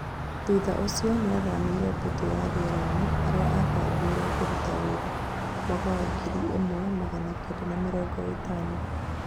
thutha ũcio nĩathamĩire mbũtũ ya rĩeraini haria abangĩirwo kũrũta wĩra, mwaka wa ngiri ĩmwe magana Kenda ma mĩrongo ĩtano